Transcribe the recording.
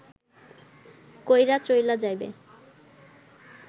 কইরা চইলা যাবে